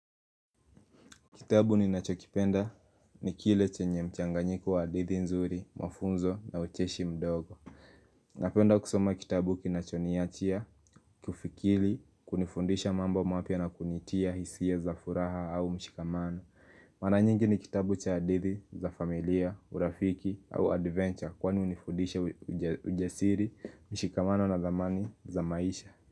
Kitabu ni nachokipenda ni kile chenye mchanganyiko wa hadithi nzuri, mafunzo na ucheshi mdogo. Napenda kusoma kitabu kinachoniachia, kufikili, kunifundisha mambo mapya na kuniitia hisia za furaha au mshikamano. Mara nyingi ni kitabu cha hadithi za familia, urafiki au adventure kwani hunifundisha ujasiri, mshikamano na dhamani za maisha.